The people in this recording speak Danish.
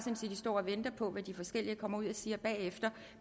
står og venter på hvad de forskellige kommer ud og siger bagefter